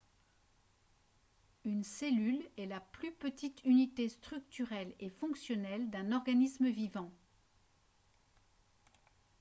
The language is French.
une cellule est la plus petite unité structurelle et fonctionnelle d'un organisme vivant